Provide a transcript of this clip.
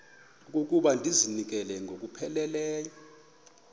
okokuba ndizinikele ngokupheleleyo